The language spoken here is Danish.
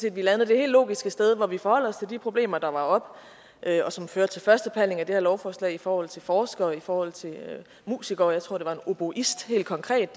at vi landede det helt logiske sted hvor vi forholder os til de problemer der var oppe og som førte til førstebehandlingen af det her lovforslag i forhold til forskere og i forhold til musikere jeg tror det oboist helt konkret